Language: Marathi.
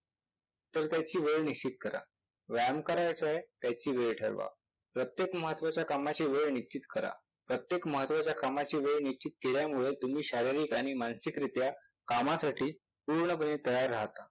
तर त्याची वेळ निश्चित करा. व्यायाम करायचाय त्याची वेळ ठरवा. प्रत्येक महत्वाच्या कामाची वेळ निश्चित करा. प्रत्येक महत्वाच्या कामाची वेळ निश्चित केल्यामुळे तुम्ही शारीरिक आणि मानसिक रित्या कामासाठी पूर्णपणे तयार आहात.